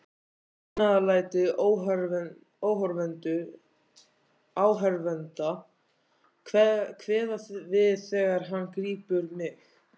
Fagnaðarlæti áhorfenda kveða við þegar hann grípur mig.